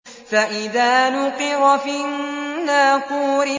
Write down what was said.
فَإِذَا نُقِرَ فِي النَّاقُورِ